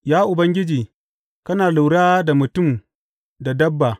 Ya Ubangiji, kana lura da mutum da dabba.